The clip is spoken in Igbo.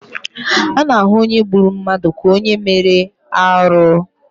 A na-ahụ onye gburu mmadụ ka onye mere arụ.